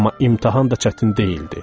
Amma imtahan da çətin deyildi.